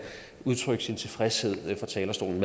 udtrykke sin tilfredshed med fra talerstolen